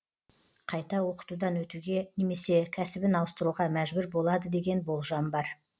қайта оқытудан өтуге немесе кәсібін ауыстыруға мәжбүр болады деген болжам бар